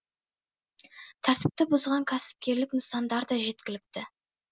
тәртіпті бұзған кәсіпкерлік нысандар да жеткілікті